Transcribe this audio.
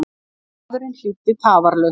Maðurinn hlýddi tafarlaust.